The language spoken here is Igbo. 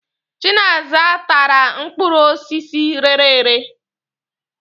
Chinaza tàrà mkpọrọ osisi rērē èrē.